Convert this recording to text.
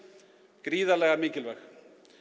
gríðarlega mikilvæg